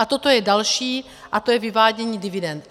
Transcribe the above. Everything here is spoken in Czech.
A toto je další, a to je vyvádění dividend.